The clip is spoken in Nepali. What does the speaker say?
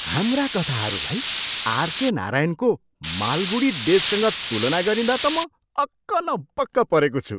हाम्रा कथाहरूलाई आरके नारायणको मालगुदी डेजसँग तुलना गरिँदा त म अक्क न बक्क परेको छु!